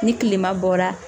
Ni kilema bɔra